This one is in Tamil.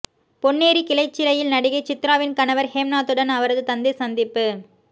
பொன்னேரி கிளைச்சிறையில் நடிகை சித்ராவின் கணவர் ஹேம்நாத்துடன் அவரது தந்தை சந்திப்பு